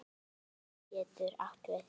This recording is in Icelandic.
Beyging getur átt við